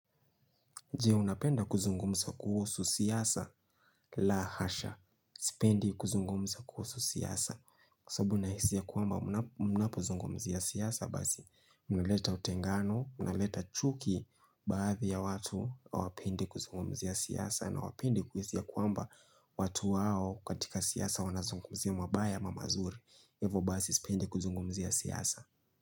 Jee unapenda kuzungumza kuhusu siasa la hasha. Sipendi kuzungumza kuhusu siyasa. Kwa sababu nahisi ya kwamba muna munapo zungumzia siasa basi. Unileta utengano, unileta chuki baadhi ya watu, hawapendi kuzungumzia siyasa na hawapendi kuhisi ya kwamba watu wao katika siasa wanazungumzia mabaya ama mazuri. Hivo basi sipendi kuzungumzia siyasa.